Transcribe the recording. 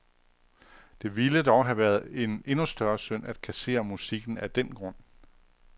Det ville dog have været en endnu større synd at kassere musikken af den grund.